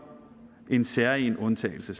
en særegen undtagelse